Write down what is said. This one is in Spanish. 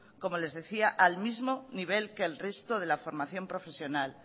como les decía al mismo nivel que el resto de la formación profesional